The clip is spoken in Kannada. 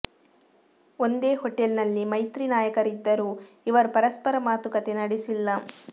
ಒಂದೇ ಹೋಟೆಲ್ ನಲ್ಲಿ ಮೈತ್ರಿ ನಾಯಕರಿದ್ದರೂ ಇವರು ಪರಸ್ಪರ ಮಾತುಕತೆ ನಡೆಸಿಲ್ಲ